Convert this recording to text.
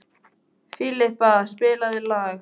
Filippa, spilaðu lag.